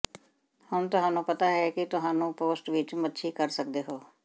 ਹੁਣ ਤੁਹਾਨੂੰ ਪਤਾ ਹੈ ਕਿ ਕੀ ਤੁਹਾਨੂੰ ਪੋਸਟ ਵਿੱਚ ਮੱਛੀ ਕਰ ਸਕਦੇ ਹੋ